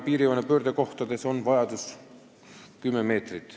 Piirijoone pöördekohtades on vajadus 10 meetrit.